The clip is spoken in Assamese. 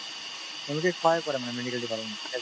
তেওঁলোকে সহায় কৰে মানে medical department তত health ত